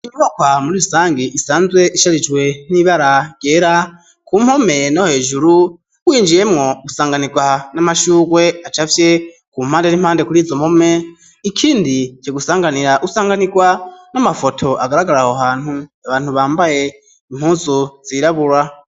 Inyubakwa muri bisangi isanzwe isharijwe n'ibara ryera, ku mpome no hejuru winjiyemwo usanganirwa n'amashurwe acafye, ku mpande n'impande kuri izo mpome ikindi co gusanganira ,usanganirwa n'amafoto agaragaraho hantu abantu bambaye impuzu zirabura.